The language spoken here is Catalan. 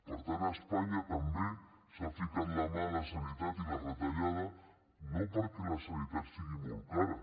per tant a espanya també s’ha ficat mà a la sanitat i la retallada no perquè la sanitat sigui molt cara